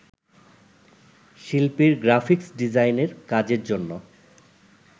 শিল্পীর গ্রাফিক্স ডিজাইনের কাজের জন্য